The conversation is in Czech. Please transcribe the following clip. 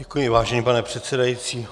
Děkuji, vážený pane předsedající.